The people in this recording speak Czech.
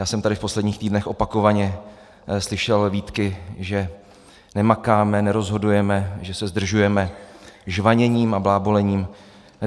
Já jsem tady v posledních týdnech opakovaně slyšel výtky, že nemakáme, nerozhodujeme, že se zdržujeme žvaněním a blábolením.